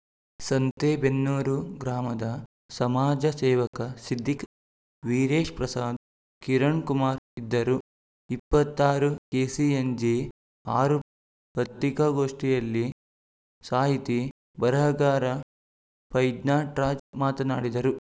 ಸಂತೆಬೆನ್ನೂರು ಗ್ರಾಮದ ಸಮಾಜ ಸೇವಕ ಸಿದ್ದೀಕ್‌ ವೀರೇಶ್‌ಪ್ರಸಾಧ್‌ ಕಿರಣ್‌ ಕುಮಾರ್‌ ಇದ್ದರು ಇಪ್ಪತ್ತ್ ಆರು ಕೆಸಿಎನ್ಜಿ ಆರು ಪತ್ರಿಕಾಗೋಷ್ಠಿಯಲ್ಲಿ ಸಾಹಿತಿ ಬರಹಗಾರ ಫೈಜ್ನಾಟ್ರಾಜ್‌ ಮಾತನಾಡಿದರು